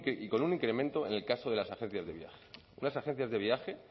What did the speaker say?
y con un incremento en el caso de las agencias de viaje unas agencias de viaje